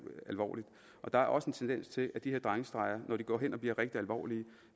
alvorlige der er også en tendens til at de her drengestreger når de går hen og blive rigtig alvorlige